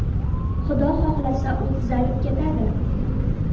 Xudo xohlasa, u tuzalib ketadi.